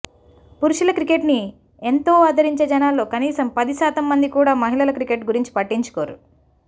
పురుషుల క్రికెట్ని ఎంతో ఆదరించే జనాల్లో కనీసం పది శాతం మంది కూడా మహిళల క్రికెట్ గురించి పట్టించుకోరు